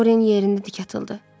Doryan yerində dik atıldı.